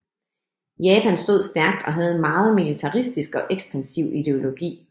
Japan stod stærkt og havde en meget militaristisk og ekspansiv ideologi